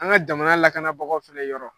An ka jamana lakana bagaw fe ye yɔrɔ